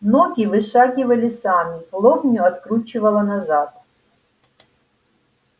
ноги вышагивали сами лобню откручивало назад